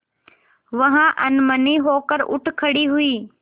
वह अनमनी होकर उठ खड़ी हुई